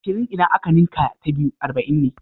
Ashirin idan aka ninka ta biyu arba'in ne.